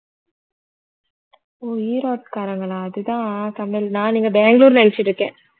ஓ ஈரோட்டுக்காரங்களா அதுதான் தமிழ் நான் நீங்க பெங்களூர்ன்னு நினைச்சிட்டு இருக்கேன்